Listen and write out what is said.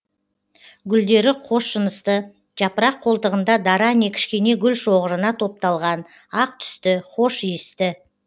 гүлдері қосжынысты жапырақ қолтығында дара не кішкене гүл шоғырына топталған ақ түсті хош иісті